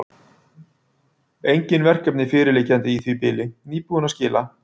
Engin verkefni fyrirliggjandi í því bili, nýbúinn að skila.